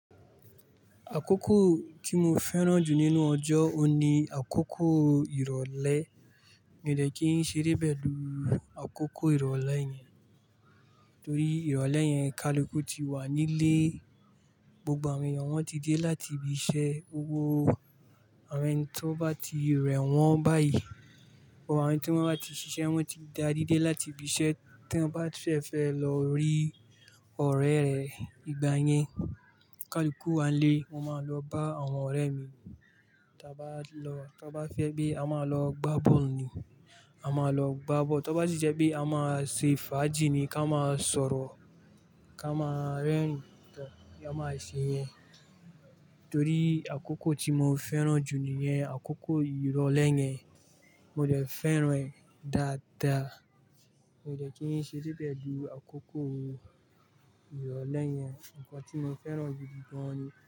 Àkókò tí mo fẹ́ràn jù nínú ọjọ́, òun ni àkókò ìrọ̀lẹ́. Mi ò dẹ́ kí n ṣeré pẹ̀lú àkókò ìrọ̀lẹ́ yẹn, torí ìrọ̀lẹ́ yẹn, ká lu kú ti wà nílé, gbogbo àwọn èèyàn wọ́n ti dé láti ibi iṣẹ́, gbogbo àwọn ẹni tí wọ́n bá ti rẹ̀ wọ́n báyìí, àwọn tí wọ́n bá ti ṣiṣẹ́ wọ́n ti dá rí dé láti ibi iṣẹ́ tí wọ́n bá fẹ́ fẹ́ lọ rí ọ̀rẹ́ rẹ̀ ìgbà yẹn. Ká lo kú wà nílé, mo máa lọ bá àwọn ọ̀rẹ́ mi, tí a bá lọ, tí wọ́n bá fẹ́ pé a máa lọ gbá ball ni, a máa lọ gbá ball, to bá sì jẹ́ pé a máa ṣe fàájì ni ká máa sọ̀rọ̀, ká máa rẹ́rìn-ín tán, a máa ṣe yẹn. Torí àkókò tí mo fẹ́ràn jù níyẹn, àkókò ìrọ̀lẹ́ yẹn, mo dè fẹ́ràn ẹ́ dáadáa. Mi ò dẹ́ kí n ṣe ré pẹ̀lú àkókò ìrọ̀lẹ́ yẹn, nǹkan tí mo fẹ́ràn gidi gan ni.